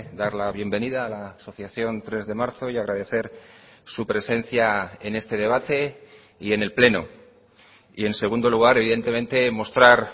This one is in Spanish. dar la bienvenida a la asociación tres de marzo y agradecer su presencia en este debate y en el pleno y en segundo lugar evidentemente mostrar